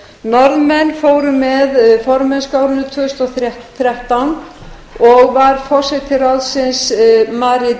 norðmenn fóru með formennsku á árinu tvö þúsund og þrettán og var forseti ráðsins marit